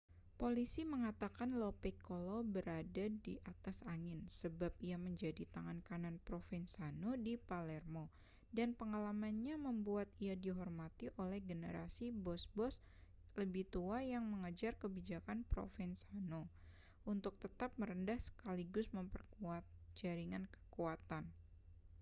polisi mengatakan lo piccolo berada di atas angin sebab ia menjadi tangan kanan provenzano di palermo dan pengalamannya membuat ia dihormati oleh generasi bos-bos lebih tua yang mengejar kebijakan provenzano untuk tetap merendah sekaligus memperkuat jaringan kekuatan